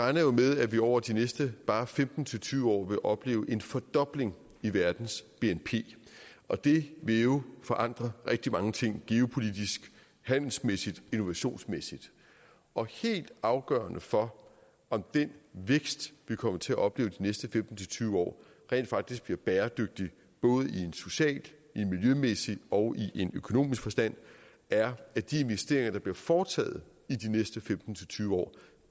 jo med at vi over de næste bare femten til tyve år vil opleve en fordobling af verdens bnp og det vil jo forandre rigtig mange ting geopolitisk handelsmæssigt innovationsmæssigt og helt afgørende for om den vækst vi kommer til at opleve de næste femten til tyve år rent faktisk bliver bæredygtig både i en social i en miljømæssig og i en økonomisk forstand er at de investeringer der bliver foretaget i de næste femten til tyve år